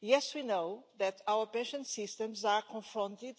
Yes, we know that our pension systems are confronted